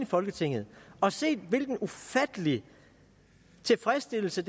folketinget og set hvilken ufattelig tilfredsstillelse